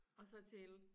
Og så til